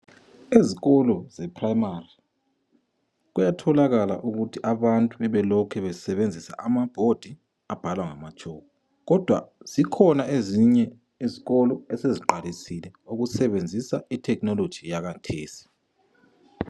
Ezikolo zePrimary kuyatholakala ukuthi abantu bebelokhu besebenzisa amabhodi abhalwa ngamatshoko. Kodwa zikhona ezinye izikolo eseziqalisile ukusebenzisa ithekhinoloji yakhathesi.